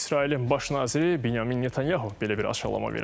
İsrailin baş naziri Binyamin Netanyahu belə bir açıqlama verib.